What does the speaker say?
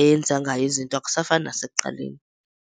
eyenza ngayo izinto akusafani nasekuqaleni.